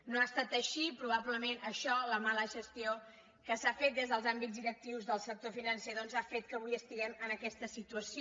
no ha estat així i probablement això la mala gestió que s’ha fet des dels àmbits directius del sector financer doncs ha fet que avui estiguem en aquesta situació